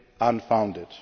and legally